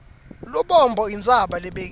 lubombo intsaba lebekile